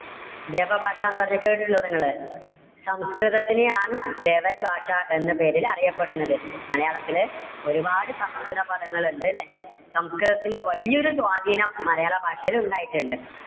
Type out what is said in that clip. ദേവഭാഷ എന്ന് പറഞ്ഞാൽ കേട്ടിട്ടിണ്ടോ നിങ്ങള്? സംസ്കൃതത്തിനെ ആണ് ദേവഭാഷ എന്ന പേരിൽ അറിയപ്പെടുന്നത്. മലയാളത്തില് ഒരുപാട് സംസ്കൃതപദങ്ങൾ ഉണ്ട് അല്ലെ, സംസ്കൃതത്തിന്റെ വലിയൊരു സ്വാധീനം മലയാള ഭാഷയിൽ ഉണ്ടായിട്ടുണ്ട്.